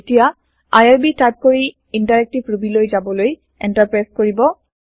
এতিয়া IRB type কৰি interactive ৰুবীলৈ যাবলৈ এন্টাৰ প্ৰেছ কৰিব